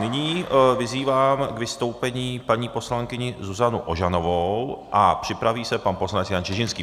Nyní vyzývám k vystoupení paní poslankyni Zuzanu Ožanovou a připraví se pan poslanec Jan Čižinský.